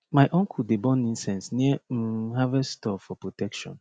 my uncle dey burn incense near um harvest store for protection